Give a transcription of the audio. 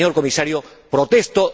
Señor Comisario, protesto.